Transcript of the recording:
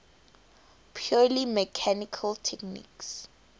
purely mechanical techniques